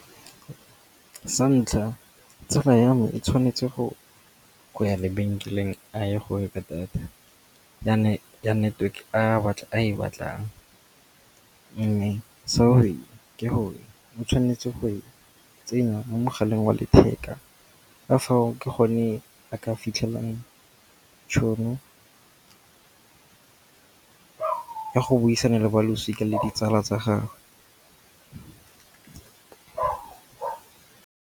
Sa ntlha tsala ya me e tshwanetse go ya lebenkeleng a ye go reka data ya network a e batlang. Mme seo se ke gore o tshwanetse go e tsenya mo mogaleng wa letheka ka fao ke gone a ka fitlhelang tšhono ya go buisana le balosika le ditsala tsa gagwe.